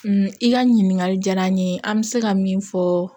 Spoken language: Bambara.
i ka ɲininkali diyara n ye an bɛ se ka min fɔ